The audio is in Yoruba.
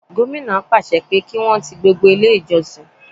Gómìnà pàṣẹ pé kí Wọ́n ti gbogbo ilé ìjọsìn.